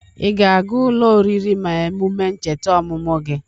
Ị ga-aga ụlọ oriri mee emume ncheta ọmụmụ gị?